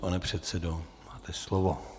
Pane předsedo, máte slovo.